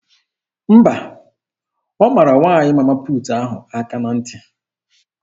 Mba, ọ mara nwaanyị Mama puutu ahụ aka na ntị.